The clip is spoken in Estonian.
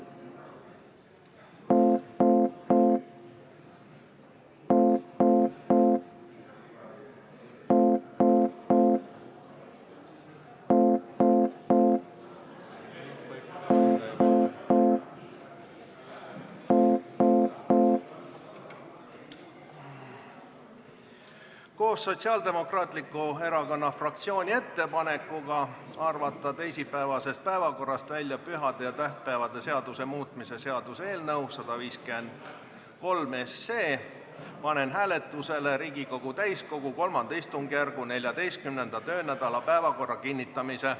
Koos Sotsiaaldemokraatliku Erakonna fraktsiooni ettepanekuga arvata teisipäevasest päevakorrast välja pühade ja tähtpäevade seaduse muutmise seaduse eelnõu 153 panen hääletusele Riigikogu täiskogu III istungjärgu 14. töönädala päevakorra kinnitamise.